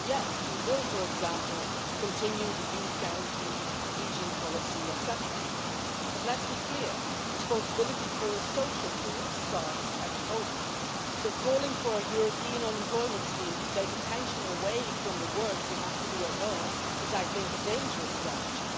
So yes, we will for example continue the youth guarantee, cohesion policy, etc. But let's be clear, responsibility for a social Europe starts at home, so calling for a European unemployment scheme to take attention away from the work you have to do at home is, I think, a dangerous strategy.